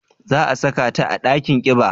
Za a saka ta a dakin kiba?